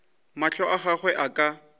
mahlo a gagwe a ka